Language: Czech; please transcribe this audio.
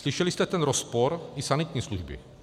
Slyšeli jste ten rozpor té sanitní služby.